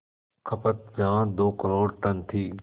खपत जहां दो करोड़ टन थी